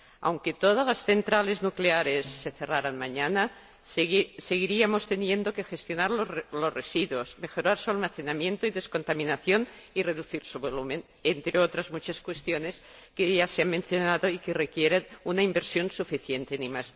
Aunque todas las centrales nucleares se cerraran mañana, seguiríamos teniendo que gestionar los residuos, mejorar su almacenamiento y descontaminación y reducir su volumen, entre otras muchas cuestiones que ya se han mencionado y que requieren una inversión suficiente en ID.